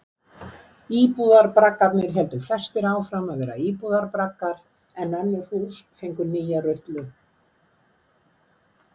Íbúðarbraggarnir héldu flestir áfram að vera íbúðarbraggar en önnur hús fengu nýja rullu.